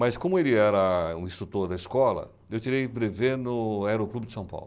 Mas como ele era um instrutor da escola, eu tirei brevê no Aeroclube de São Paulo.